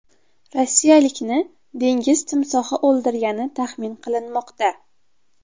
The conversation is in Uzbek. Rossiyalikni dengiz timsohi o‘ldirgani taxmin qilinmoqda.